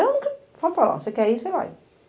Eu nunca... Fala para elas, se você quer ir, você vai.